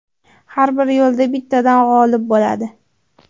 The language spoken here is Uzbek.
Har bir yo‘lda bittadan g‘olib bo‘ladi.